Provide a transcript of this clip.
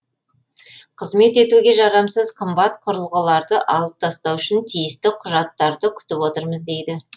қызмет етуге жарамсыз қымбат құрылғыларды алып тастау үшін тиісті құжаттарды күтіп отырмыз дейді